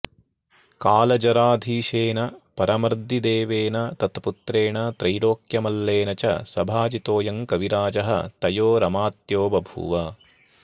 कालजराधीशेन परमर्दिदेवेन तत्पुत्रेण त्रैलोक्यमल्लेन च सभाजितोऽयं कविराजः तयोरमात्यो बभूव